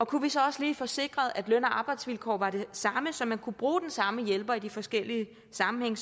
kunne vi så også lige få sikret at løn og arbejdsvilkår var de samme så man kunne bruge den samme hjælper i de forskellige sammenhænge